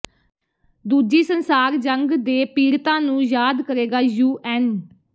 ਦੂਜੀ ਸੰਸਾਰ ਜੰਗ ਦੇ ਪੀੜਤਾਂ ਨੂੰ ਯਾਦ ਕਰੇਗਾ ਯੂਐੱਨ